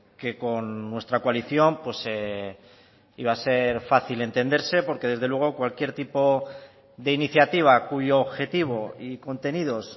que con nuestra coalición iba a ser fácil entenderse porque desde luego cualquier tipo de iniciativa cuyo objetivo y contenidos